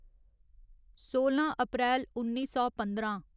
सोलां अप्रैल उन्नी सौ पंदरां